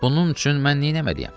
Bunun üçün mən nə eləməliyəm?